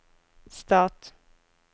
stat